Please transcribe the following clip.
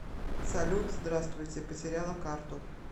салют здравствуйте потеряла карту